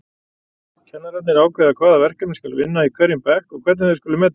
Kennararnir ákveða hvaða verkefni skal vinna í hverjum bekk og hvernig þau skuli metin.